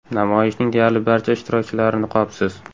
Namoyishning deyarli barcha ishtirokchilari niqobsiz.